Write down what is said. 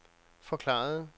forklarede